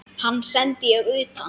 Hann sendi ég utan.